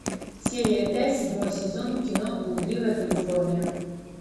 серия пять седьмой сезон кино блудливая калифорния